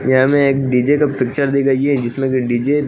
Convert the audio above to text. यहां में एक डी_जे का पिक्चर दिखाई है जिसमें कि डी_जे --